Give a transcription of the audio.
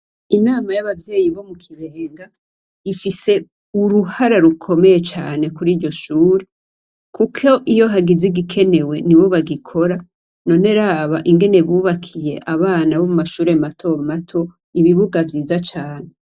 Inama y'abavyeyi bo mu kibenga ifise uruhara rukomeye cane kuri iryo shuri, kuko iyo hagizigikenewe ni bobagikora none raba ingene bubakiye abana bo mu mashure matomato ibibuga vyiza cane.